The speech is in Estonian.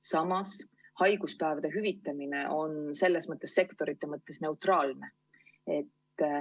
Samas on haiguspäevade hüvitamine sektorite mõttes neutraalne.